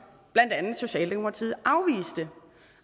blandt andet socialdemokratiet afviste